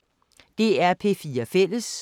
DR P4 Fælles